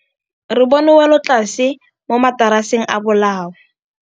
Re bone wêlôtlasê mo mataraseng a bolaô.